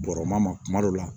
Bɔrɔma ma kuma dɔ la